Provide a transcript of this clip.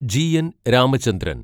G N Ramachandran